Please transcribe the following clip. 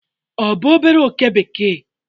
ọ bụ obere oke bekee?